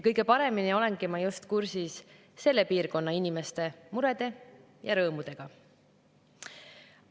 Kõige paremini olengi ma just kursis selle piirkonna inimeste murede ja rõõmudega.